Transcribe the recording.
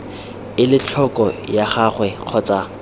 ele tlhoko ga gagwe kgotsa